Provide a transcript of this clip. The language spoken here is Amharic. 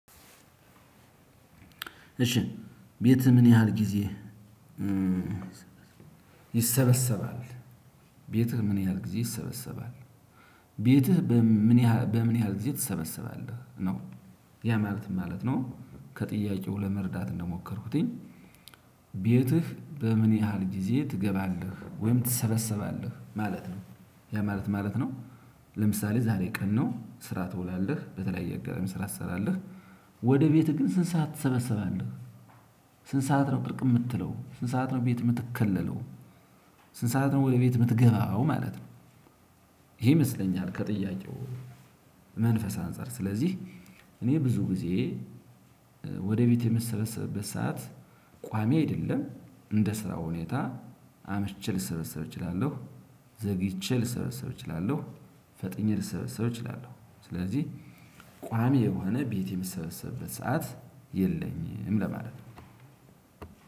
እሺ ቤት ምን ያህል ጊዜ? ይሰበሰባል ቤትህ ምን ያህል ጊዜ ይሰበሰባል? ቤትህ በምን ያህል ግዜ ትሰበስባለህ ነው ያ ማለት ምን ማለት ነው? ከጥያቄው ለመርዳት እንደሞከርኩኝ። ቤትህ በምን ያህል ጊዜ ትገባለህ ወይም ትሰበሰባለህ ማለት ነው? ያ ማለት ምን ማለት ነው? ለምሳሌ ዛሬ ቀን ነው ስራ ትውላለህ በተለያየ አጋጣሚ ስራ ትሰራለህ። ወደ ቤትህ ግን ስንት ሰዓት ትሰበሰባለህ? ስንት ሰዓት ነው ቅርቅ የምትለው ስንት ሰዓት ነው ቤት የምትከለለው? ስንት ሰዓት ነው ወይ ቤት የምትገባው ማለት ነው? ይሄ ይመስለኛል ከጥያቄው። መንፈስ አንፃር ስለዚህ እኔ ብዙ ጊዜ ወደ ቤቴ የምሰበሰብበት ሰዓት ቋሚ አይደለም። እንደ ስራው ሁኔታ አምሽቼ ልሰበሰብ እችላለሁ። ዘግይቼ ልሰበሰብ እችላለሁ ፈጥኜ ልሰበሰብ እችላለሁ። ስለዚህ ቋሚ የሆነ ቤት የምሰበሰብበት ሰዓት የለኝም ለማለት ነው።